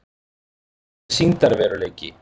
Hvað er sýndarveruleiki?